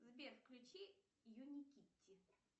сбер включи юникити